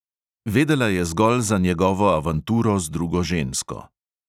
Vedela je zgolj za njegovo avanturo z drugo žensko.